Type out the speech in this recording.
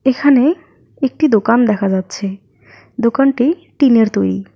এখানে একটি দোকান দেখা যাচ্ছে দোকানটি টিনের তৈরি।